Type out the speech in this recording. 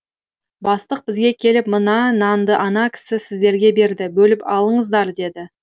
бастық бізге келіп мына нанды ана кісі сіздерге берді бөліп алыңыздар деді